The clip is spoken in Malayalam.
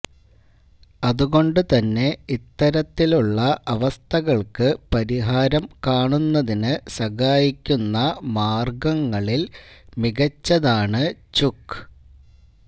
അതുകൊണ്ട് തന്നെ ഇത്തരത്തിലുള്ള അവസ്ഥകള്ക്ക് പരിഹാരം കാണുന്നതിന് സഹായിക്കുന്ന മാര്ഗ്ഗങ്ങളില് മികച്ചതാണ് ചുക്ക്